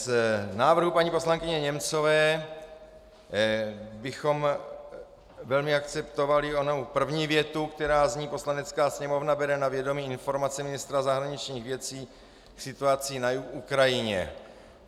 Z návrhu paní poslankyně Němcové bychom velmi akceptovali onu první větu, která zní: "Poslanecká sněmovna bere na vědomí informaci ministra zahraničních věcí k situaci na Ukrajině."